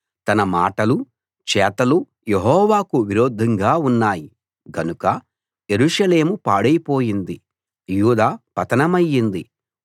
తన మాటలు చేతలు యెహోవాకు విరుద్ధంగా ఉన్నాయి గనుక యెరూషలేము పాడైపోయింది యూదా పతనమయ్యింది